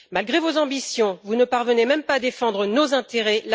Malgré vos ambitions, vous ne parvenez même pas à défendre nos intérêts.